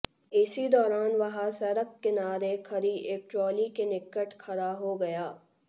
इसी दौरान वह सड़क किनारे खड़ी एक ट्रॉली के निकट खड़ा हो गया